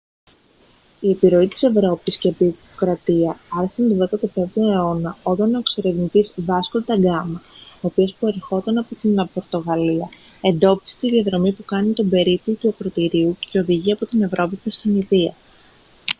η επιρροή της ευρώπης και η αποικιοκρατία άρχισαν τον 15ο αιώνα όταν ο εξερευνητής βάσκο ντα γκάμα ο οποίος προερχόταν από την πορτογαλία εντόπισε τη διαδρομή που κάνει τον περίπλου του ακρωτηρίου και οδηγεί από την ευρώπη προς την ινδία